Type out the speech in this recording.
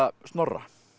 Snorra